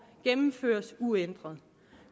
gennemføres uændret